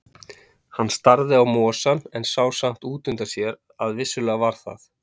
Hann starði á mosann, en sá samt út undan sér að vissulega var það